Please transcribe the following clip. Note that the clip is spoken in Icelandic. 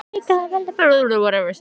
Líka að veltast í henni vísan.